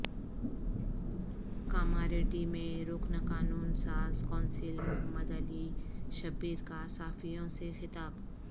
کاماریڈی میں رکن قانون ساز کونسل محمد علی شبیر کا صحافیوں سے خطاب